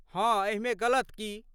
हाँ एहिमे गलत की?